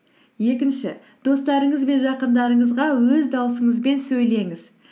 екінші достарыңыз бен жақындарыңызға өз даусыңызбен сөйлеңіз